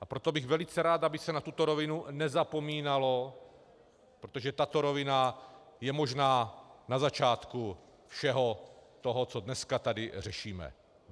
A proto bych velice rád, aby se na tuto rovinu nezapomínalo, protože tato rovina je možná na začátku všeho toho, co dneska tady řešíme.